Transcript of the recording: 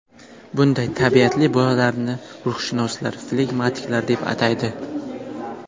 Bunday tabiatli bolalarni ruhshunoslar flegmatiklar deb ataydi.